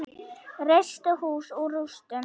Reisti hús úr rústum.